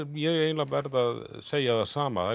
ég eiginlega verð að segja það sama